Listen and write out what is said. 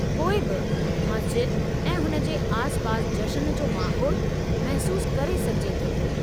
पोइ बि मस्ज़िद ऐं हुन जे आसिपासि जश्न जो माहौल महसूसु करे सघिजे थो।